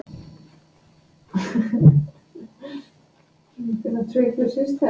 Svei mér ef þetta voru ekki góðir dagar.